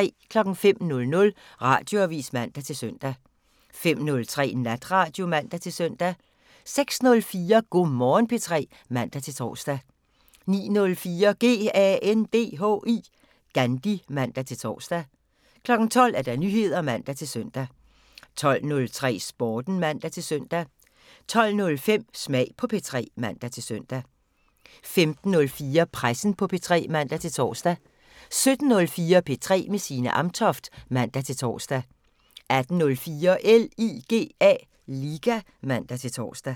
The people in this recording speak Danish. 05:00: Radioavisen (man-søn) 05:03: Natradio (man-søn) 06:04: Go' Morgen P3 (man-tor) 09:04: GANDHI (man-tor) 12:00: Nyheder (man-søn) 12:03: Sporten (man-søn) 12:05: Smag på P3 (man-søn) 15:04: Pressen på P3 (man-tor) 17:04: P3 med Signe Amtoft (man-tor) 18:04: LIGA (man-tor)